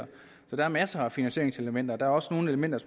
der er masser af finansieringselementer der også nogle elementer